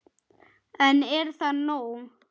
En er það nóg?